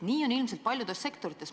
Nii on ilmselt paljudes sektorites.